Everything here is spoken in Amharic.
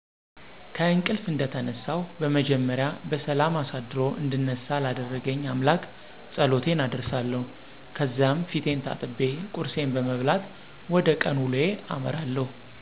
ከእንቅልፍ እንደተነሳሁ በመጀመሪያ በሠላም አሳድሮ እንድነሳ ላደረገኝ አምላክ ፀሎቴን አደርሳለሁ፣ ከዛም ፊቴን ታጥቤ ቁርሴን በመብላት ወደ ቀን ውሎዬ አመራለሁ።